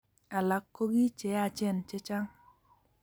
alak ko kii cheyachen chechang